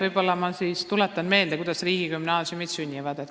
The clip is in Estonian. Võib-olla ma siis tuletan meelde, kuidas riigigümnaasiumid sünnivad.